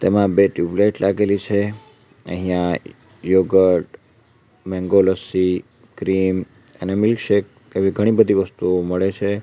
એમાં બે ટ્યુબલાઈટ લાગેલી છે અહીંયા યોગહર્ટ મેંગો લસ્સી ક્રીમ અને મિલ્ક શેક એવી ઘણી બધી વસ્તુઓ મળે છે.